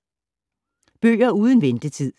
Bøger uden ventetid